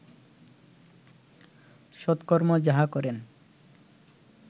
সৎকর্ম যাহা করেন